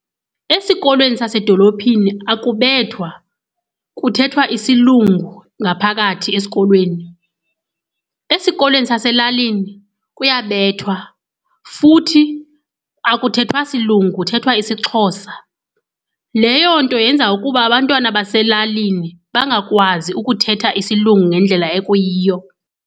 Esikolweni sasedolophini akubethwa, kuthethwa isilungu ngaphakathi esikolweni. Esikolweni saselalini kuyabethwa futhi akuthethwa silungu, kuthethwa isiXhosa. Leyo nto yenza ukuba abantwana baselalini bangakwazi ukuthetha isilungu ngendlela ekuyiyo.